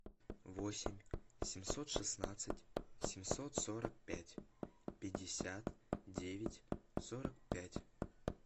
восемь семьсот шестнадцать семьсот сорок пять пятьдесят девять сорок пять